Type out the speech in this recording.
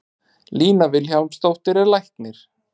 Lína Vilhjálmsdóttir er læknir.